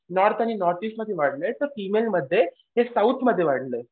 North आणि नॉर्थईस्टमध्ये आहे तर हे साऊथमध्ये वाढलंय.